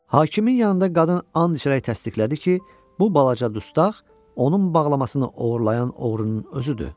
Hakimin yanında qadın and içərək təsdiqlədi ki, bu balaca dustaq onun bağlamasını oğurlayan oğrunun özüdür.